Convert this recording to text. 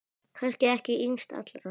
Kannski ekki yngst allra.